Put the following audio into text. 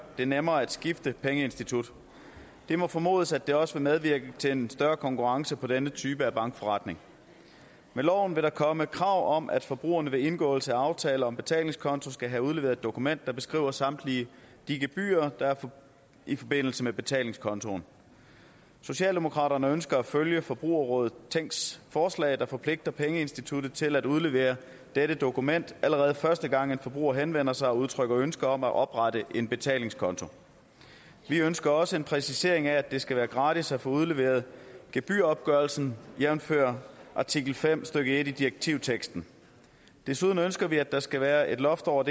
det nemmere at skifte pengeinstitut det må formodes at det også vil medvirke til en større konkurrence på denne type af bankforretning med loven vil der komme krav om at forbrugerne ved indgåelse af aftaler om betalingskonto skal have udleveret et dokument der beskriver samtlige de gebyrer der er i forbindelse med betalingskontoen socialdemokraterne ønsker at følge forbrugerrådet tænks forslag der forpligter pengeinstituttet til at udlevere dette dokument allerede første gang en forbruger henvender sig og udtrykker ønske om at oprette en betalingskonto vi ønsker også en præcisering af at det skal være gratis at få udleveret gebyropgørelsen jævnfør artikel fem stykke en i direktivteksten desuden ønsker vi at der skal være et loft over